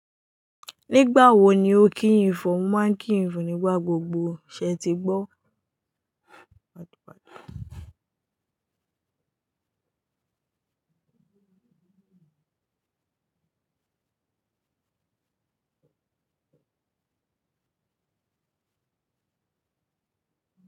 Nígbà wo ni ó kí yin fo? mo máa ń kí ìfọ nígbà gbogbo ṣe ti gbọ́?